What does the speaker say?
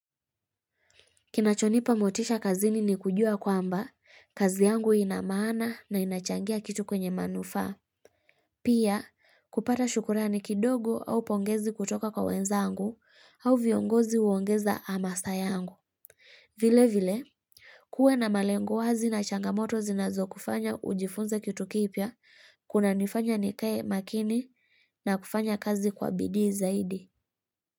Kinachonipa motisha kazini ni kujua kwamba, kazi yangu ina maana na inachangia kitu kwenye manufaa. Pia, kupata shukrani kidogo au pongezi kutoka kwa wenzangu au viongozi huongeza amasa yangu. Vile vile, kuwe na malengo wazi na changamoto zinazokufanya ujifunze kitu kipya, kunanifanya nikae makini na kufanya kazi kwa bidii zaidi.